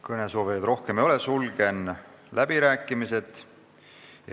Kõnesoovijaid rohkem ei ole, sulgen läbirääkimised.